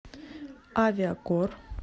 авиакор